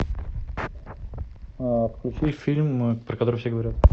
включи фильм про который все говорят